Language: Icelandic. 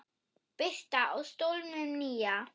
Birta: Á stólnum nýja?